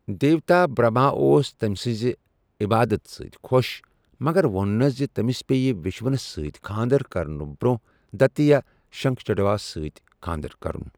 دیوتا برہما اوس تٔمۍ سٕنٛزِ عبادت سٕتۍ خۄش مگر ووٚننس زِ تٔمِس پیٚیہِ وشنوس سۭتۍ کھاندر کرنہٕ برۄنٛہہ دیتیہ شنکھچوڈاہس سۭتۍ کھاندر کرُن۔